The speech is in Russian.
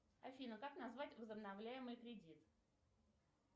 афина как назвать возобновляемый кредит